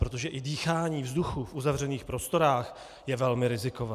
Protože i dýchání vzduchu v uzavřených prostorách je velmi rizikové.